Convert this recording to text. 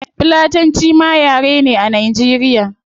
Fulatanci ma yare ne a nigeria